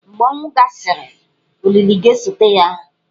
Mgbe ọnwụ gasịrị, olili ga-esote ya.